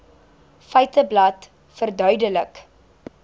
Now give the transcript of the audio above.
feiteblad verduidelik